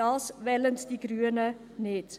Das wollen die Grünen nicht!